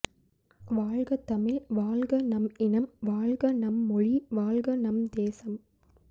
வாழ்க தமிழ் வாழ்க நம் இனம் வாழ்க நம் மொழி வாழ்க நம் தேசம்